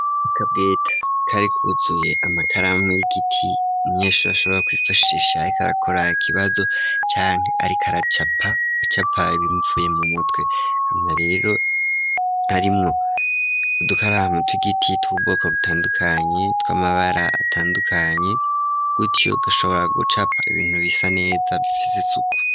Akabweta kare kuzuye amakaramu y'igiti umunyeshuri ashobora kwifashisha ariko arakora ikibazo canke ariko aracapa ibimuvuye mu mutwe hama rero arimwo udukaramu tw'igiti tw'ubwoko butandukanye tw'amabara atandukanye gutyo ugashobora gucapa ibintu bisa neza bifite isuku.